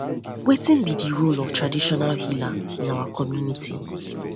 wetin be di role um of traditional healer in um our community